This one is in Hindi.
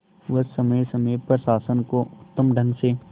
वह समय समय पर शासन को उत्तम ढंग से